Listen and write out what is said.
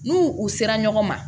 N'u u sera ɲɔgɔn ma